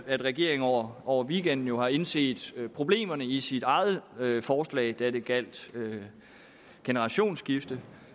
at regeringen over over weekenden har indset problemerne i sit eget forslag da det gjaldt generationsskifte